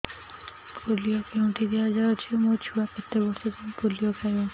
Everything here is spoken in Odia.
ପୋଲିଓ କେଉଁଠି ଦିଆଯାଉଛି ମୋ ଛୁଆ କେତେ ବର୍ଷ ଯାଏଁ ପୋଲିଓ ଖାଇବ